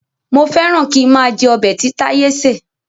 Mo féràn kín máa jẹ ọbẹ̀ tí táyé ṣé.